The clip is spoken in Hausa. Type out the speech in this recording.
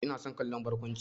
Ina son kallon barkwanci.